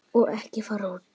Og ekki fara út.